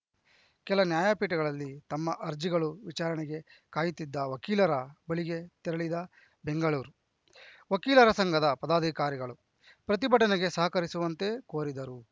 ಕೆಲ ನ್ಯಾಯಪೀಠಗಳಲ್ಲಿ ತಮ್ಮ ಅರ್ಜಿಗಳು ವಿಚಾರಣೆಗೆ ಕಾಯುತ್ತಿದ್ದ ವಕೀಲರ ಬಳಿಗೆ ತೆರಳಿದ ಬೆಂಗಳೂರು ವಕೀಲರ ಸಂಘದ ಪದಾಧಿಕಾರಿಗಳು ಪ್ರತಿಭಟನೆಗೆ ಸಹಕರಿಸುವಂತೆ ಕೋರಿದರು